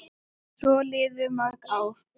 Svo liðu mörg ár.